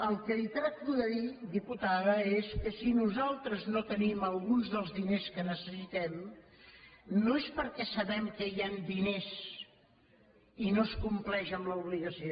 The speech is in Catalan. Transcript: el que li tracto de dir diputada és que si nosaltres no tenim alguns dels diners que necessitem no és perquè sapiguem que hi han diners i no es compleix amb l’obligació